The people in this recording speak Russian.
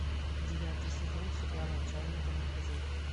девятый сезон сериала отчаянные домохозяйки